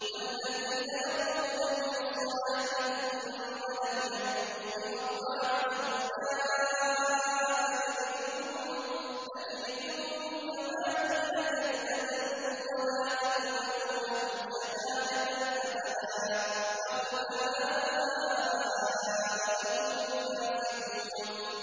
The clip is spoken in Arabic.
وَالَّذِينَ يَرْمُونَ الْمُحْصَنَاتِ ثُمَّ لَمْ يَأْتُوا بِأَرْبَعَةِ شُهَدَاءَ فَاجْلِدُوهُمْ ثَمَانِينَ جَلْدَةً وَلَا تَقْبَلُوا لَهُمْ شَهَادَةً أَبَدًا ۚ وَأُولَٰئِكَ هُمُ الْفَاسِقُونَ